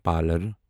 pillar